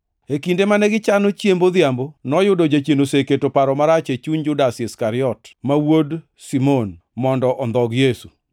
E kinde mane gichano chiemb odhiambo, noyudo Jachien oseketo paro marach e chuny Judas Iskariot, ma wuod Simon, mondo ondhog Yesu.